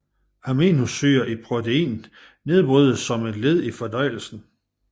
Aminosyrer i proteiner nedbrydes som et led i fordøjelsen